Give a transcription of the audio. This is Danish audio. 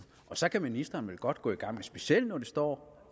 og så kan ministeren vel godt gå i gang men specielt når det står